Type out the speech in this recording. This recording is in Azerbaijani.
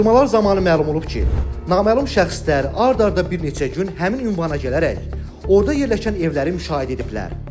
Araşdırmalar zamanı məlum olub ki, naməlum şəxslər ard-arda bir neçə gün həmin ünvana gələrək, orada yerləşən evləri müşahidə ediblər.